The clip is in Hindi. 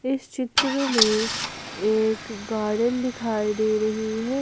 इस चित्र में एक गार्डन दिखाई दे रही है।